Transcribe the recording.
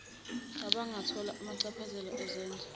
abangathola amachaphazela ezenzo